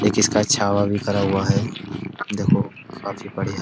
एक इस का छावा भी खरा हुआ है। देखो काफी बढ़ियां --